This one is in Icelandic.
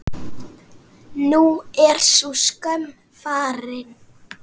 Nú er sú skömm farin.